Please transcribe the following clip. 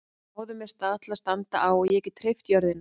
Fáðu mér stað til að standa á og ég get hreyft jörðina!